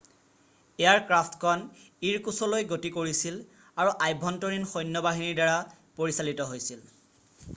এয়াৰক্ৰাফ্টখন ইৰকুছলৈ গতি কৰিছিল আৰু আভ্যন্তৰীণ সৈন্য বাহিনীৰ দ্বাৰা পৰিচালিত হৈছিল